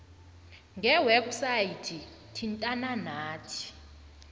ngewebhsayithi thintana nathi